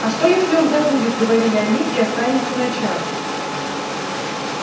а что если он забудет говорили они и останется на час